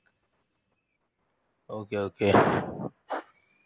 okay okay